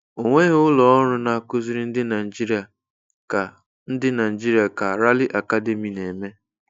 Ọ nweghị ụlọ ọrụ na-akụziri ndị Naijiria ka ndị Naijiria ka Rally Academy na-eme.